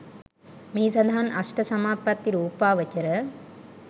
මෙහි සඳහන් අෂ්ට සමාපත්ති රූපාවචර